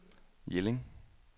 Jelling